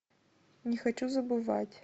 не хочу забывать